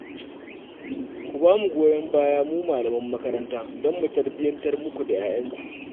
Ku ba mu goyon baya mu malaman makaranta don mu tarbiyyantar muku da 'ya'yanku